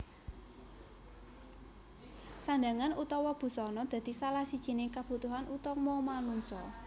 Sandhangan utawa busana dadi salah sijining kabutuhan utama manungsa